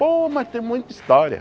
Pô, mas tem muita história.